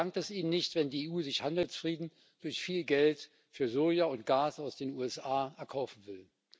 Der dankt es Ihnen nicht, wenn die EU sich Handelsfrieden durch viel Geld für Soja und Gas aus den USA erkaufen will.